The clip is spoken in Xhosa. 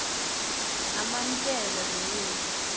amamkela lo yesu